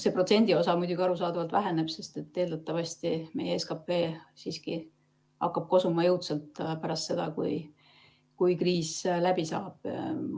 See protsendiosa muidugi arusaadavalt väheneb, sest eeldatavasti hakkab meie SKP siiski jõudsalt kosuma pärast seda, kui kriis läbi saab.